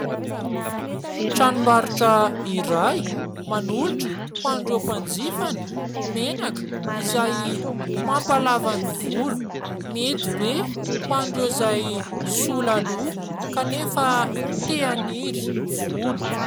Tranombarotra iray manolotra hoan'ireo mpanjifany, menaka izay mampalava ny volo. Mety be hoan'ireo izay sola loha kanefa tia haniry volo.